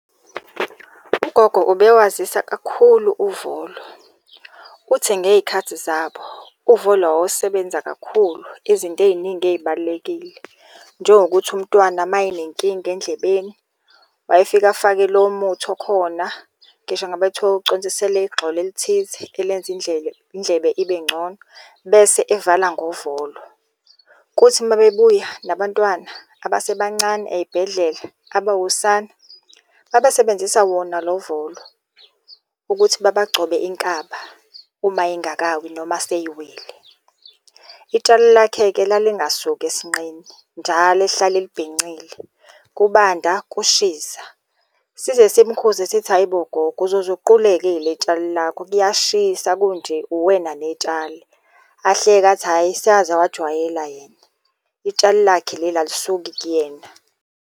Ugogo ubewazisa kakhulu uvolo. Uthi ngey'khathi zabo, uvolo wawusebenza kakhulu izinto ey'ningi ey'balulekile. Njengokuthi umntwana mayinenkinga endlebeni wayefika afake lowo muthi okhona, ngisho ngabe kuthiwa kuconsiselwa igxolo elithize elenza indlele, indlebe ibe ngcono, bese evala ngovolo. Kuthi uma bebuya nabantwana abasebancane ey'bhedlela abawusana abasebenzisa wona lo volo, ukuthi babagcobe inkaba uma ingakawi, noma seyiwile. Itshalo lakhe-ke lalingasuki esinqeni, njalo ehlale elibhincile kubanda kushisa. Size simukhuze sithi, hhayi bo gogo uzoze uquleke ile tshali lakho, kuyashisa kunje uwena netshali. Ahleke athi, hhayi sewaze wajwayela yena, itshali lakhe leli alisuki kuyena.